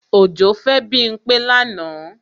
Òjó fẹ́ Bímpé lánàá